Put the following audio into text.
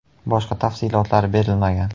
Boshqa tafsilotlar berilmagan.